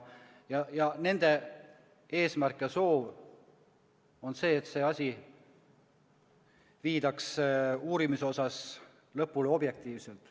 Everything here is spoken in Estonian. Nende eesmärk ja soov on see, et uurimine viidaks lõpule objektiivselt.